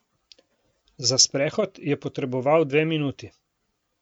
Za sprehod je potreboval dve minuti.